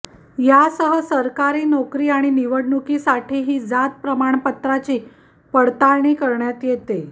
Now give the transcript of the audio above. यासह सरकारी नोकरी आणि निवडणुकीसाठीही जात प्रमाणपत्राची पडताळणी करण्यात येते